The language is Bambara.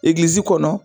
Egilizi kɔnɔ